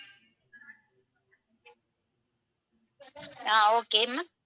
ah okay ma'am